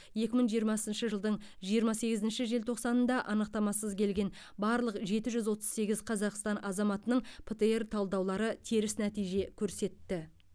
екі мың жиырмасыншы жылдың жиырма сегізінші желтоқсанында анықтамасыз келген барлық жеті жүз отыз сегіз қазақстан азаматының птр талдаулары теріс нәтиже көрсетті